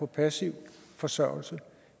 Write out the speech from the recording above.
passiv forsørgelse